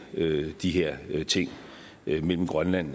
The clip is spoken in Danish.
de her ting mellem grønland